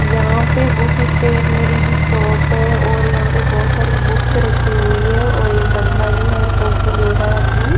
यहां पे book stationery shop है और यहां पे बहुत सारी बुक्स रखी हुई है और एक बंदा जो है फोटो ले रहा है अपनी।